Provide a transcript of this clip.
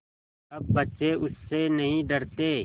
अब बच्चे उससे नहीं डरते